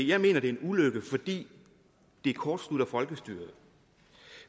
jeg mener det er en ulykke fordi det kortslutter folkestyret